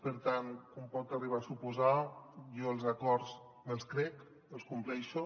per tant com pot arribar a suposar jo els acords me’ls crec els compleixo